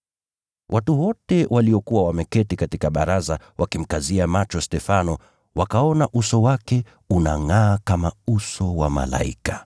Watu wote waliokuwa wameketi katika baraza wakimkazia macho Stefano, wakaona uso wake unangʼaa kama uso wa malaika.